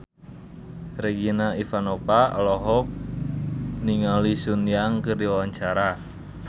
Regina Ivanova olohok ningali Sun Yang keur diwawancara